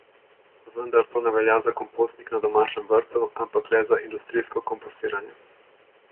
Vendar to ne velja za kompostnik na domačem vrtu, ampak le za industrijsko kompostiranje.